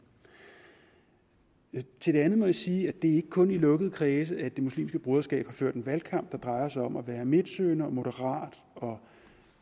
til det andet må jeg sige at det ikke kun er i lukkede kredse at det muslimske broderskab har ført en valgkamp der drejer sig om at være midtsøgende og moderat og